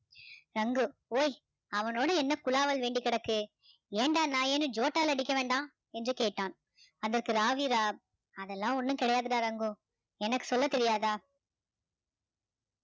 சங்கு ஓய் அவனோட என்ன குலாவால் வேண்டி கிடக்கு ஏண்டா நாயேன்னு ஜோட்டால் அடிக்க வேண்டாம் என்று கேட்டான் அதற்கு ராவீரா அதெல்லாம் ஒண்ணும் கிடையாதுடா ரங்கு எனக்கு சொல்ல தெரியாதா